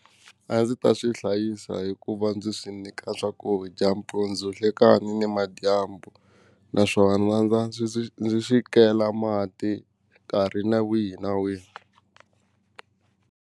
A ndzi ta swi hlayisa hikuva ndzi swi nyika swakudya mpundzu, nhlekani ni madyambu naswona ndza ndzi ndzi ndzi xi kela mati nkarhi na wihi na wihi.